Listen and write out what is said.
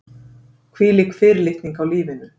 Hvílík fyrirlitning á lífinu.